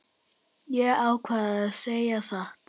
Ég ákvað að segja satt.